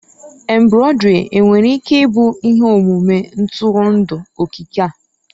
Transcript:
Embroidery nwere ike ịbụ ihe omume ntụrụndụ okike?